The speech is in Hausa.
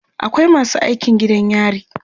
akwai masu aikin gidan yari